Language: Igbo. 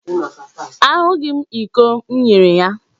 Ahụghị m iko m nyere ya.